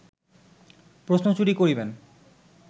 প্রশ্ন চুরি করিবেন